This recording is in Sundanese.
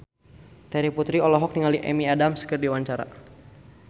Terry Putri olohok ningali Amy Adams keur diwawancara